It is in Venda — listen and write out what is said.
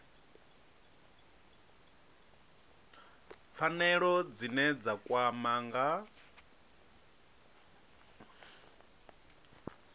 pfanelo dzine dza kwama nga